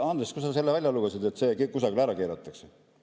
Andres, kust sa seda välja lugesid, et see ära keelatakse?